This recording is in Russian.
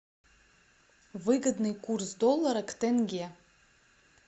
выгодный курс доллара к тенге